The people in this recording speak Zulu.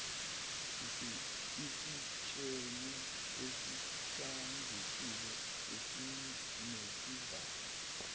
esitsheni esihlanzekile esinesivalo